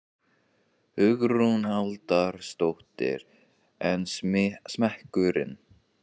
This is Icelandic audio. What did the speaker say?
Hugrún Halldórsdóttir: En smekkurinn?